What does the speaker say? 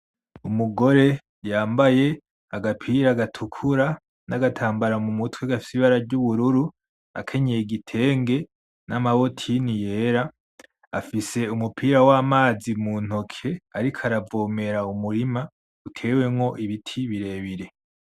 Umugore yambaye agapira gatukura n'agatambara mumutwe gafise ibara ry'ubururu, akenyeye igitenge nama botine yera, afise umupira wamazi muntoki ariko aravomera umurima utewemwo ibiti birebire.